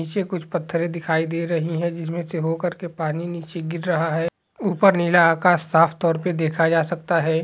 नीचे कुछ पथ्थरे दिखाई दे रहे है जिसमे से होकर के पानी नीचे गिर रहा है ऊपर नीला आकाश साफ तोर पे देखा जा सकता है।